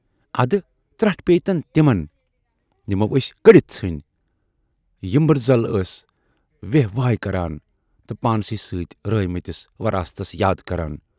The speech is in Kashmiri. اَدٕ ترٹھ پییہِ تن تِمن یِمو ٲسۍ کٔڈِتھ ژھُنۍ، یمبٔرزل ٲسۍ وہے وائے کران تہٕ پانسٕے سۭتۍ رٲوۍمٕتِس وراثتس یاد کران